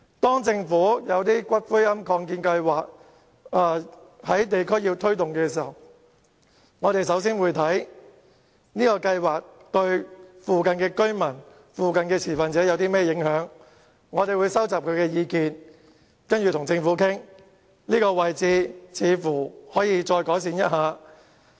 當政府要在地區推動龕場的擴建計劃時，我們會先研究該計劃對附近的居民和持份者有何影響，並收集他們的意見，然後再與政府討論所涉位置可否稍作改善。